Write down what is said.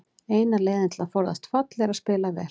Eina leiðin til að forðast fall er að spila vel.